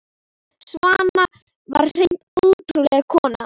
Svana var hreint ótrúleg kona.